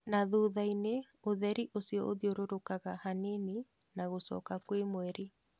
"Na thuthaĩni ũtheri ucio ũthiũrũrkaga hanini na gũcoka kwĩ mweri".